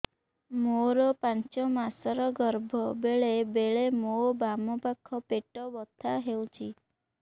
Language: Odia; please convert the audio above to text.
ମୋର ପାଞ୍ଚ ମାସ ର ଗର୍ଭ ବେଳେ ବେଳେ ମୋ ବାମ ପାଖ ପେଟ ବଥା ହଉଛି